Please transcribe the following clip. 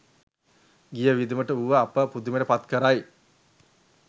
ගිය වියදම වුව අප පුදුමයට පත් කරයි.